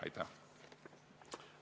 Aitäh!